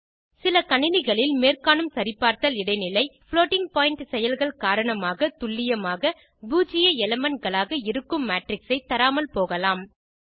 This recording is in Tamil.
சில கணினிகளில் மேற்காணும் சரிபார்த்தல் இடைநிலை புளோட்டிங் பாயிண்ட் செயல்கள் காரணமாக துல்லியமாக பூஜ்ஜிய elementகளாக இருக்கும் மேட்ரிக்ஸ் ஐ தராமல் போகலாம்